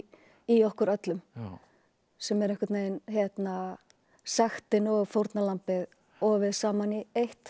í okkur öllum sem er einhvern veginn sektin og fórnarlambið ofið saman í eitt